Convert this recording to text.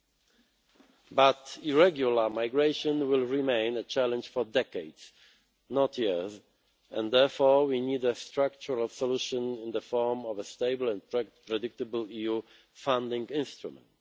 However, irregular migration will remain a challenge for decades, not years, and therefore we need a structural solution in the form of a stable and predictable EU funding instrument.